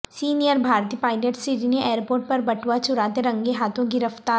senior بھارتی pilot Sydney airport پر بٹوا چراتے رنگے ہاتھوں گرفتار